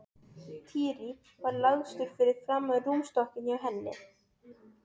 Týri var lagstur fyrir framan rúmstokkinn hjá henni.